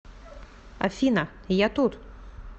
афина я тут